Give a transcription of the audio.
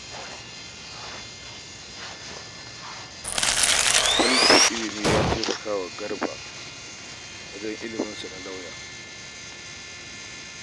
Tallafin ilimi ya taimaka wa Garba wajen cimma burinsa na zama Lauya